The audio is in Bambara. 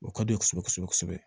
O ka di u ye kosɛbɛ kosɛbɛ